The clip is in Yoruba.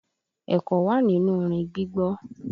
Ẹ̀kọ́ wà nínú orin gbígbọ́.